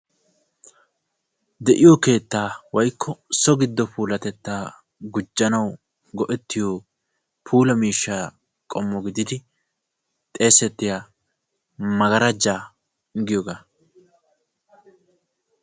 De'iyo keetta puulatetta gujjanawu maaddiya buquray maggarajja giyooga.